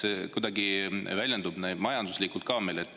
Kas see kuidagi väljendub meil majanduslikult ka?